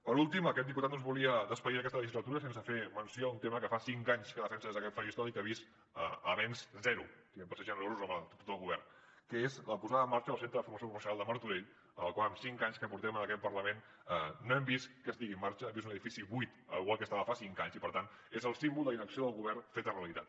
per últim aquest diputat no es volia acomiadar d’aquesta legislatura sense fer menció d’un tema que fa cinc anys que defensa des d’aquest faristol i del que ha vist avenç zero per ser generosos amb l’actitud del govern que és la posada en marxa del centre de formació professional de martorell el qual en cinc anys que portem en aquest parlament no hem vist que estigui en marxa i és un edifici buit igual que estava fa cinc anys i per tant és el símbol de la inacció del govern feta realitat